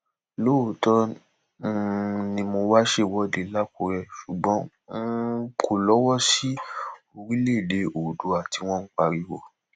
lóòótọ um ni wọn wáá ṣèwọde lakuré ṣùgbọn um n kò lọwọ sí orílẹèdè oòdùà tí wọn ń pariwo